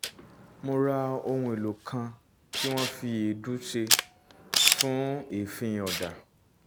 mo ra ohun èlò kan tí wọ́n fi èédú ṣe fún èéfín ọ̀dà